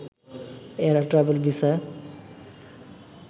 এরা ট্র্যাভেল ভিসায়